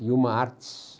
E uma, artes.